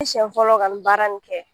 Nsiɲɛ fɔlɔ ka nin baara in kɛ